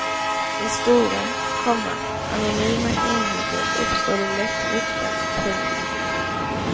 I stora, komma anonyma enheter uppstår det lätt rykten. punkt